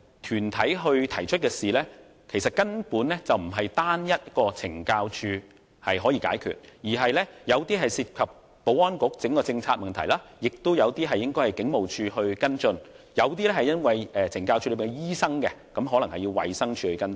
團體提出的事宜，根本不是單單懲教署可以解決，其中有些涉及保安局的整體政策，亦有些應該由警務處跟進；有些與懲教署的醫生有關，可能要由衞生署跟進。